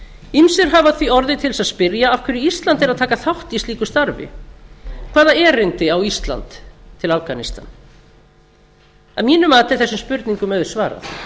ýmsir hafa því orðið til þess að spyrja af hverju er ísland að taka þátt slíku starfi hvaða erindi á ísland í afganistan að mínu mati er þessum spurningum auðsvarað